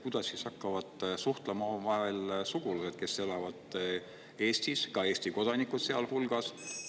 Kuidas siis hakkavad suhtlema omavahel sugulased, kes elavad Eestis, Eesti kodanikud sealhulgas?